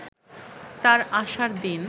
তার আসার দিন